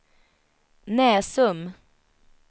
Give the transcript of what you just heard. Näsum